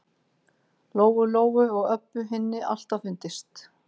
Lóu-Lóu og Öbbu hinni alltaf fundist.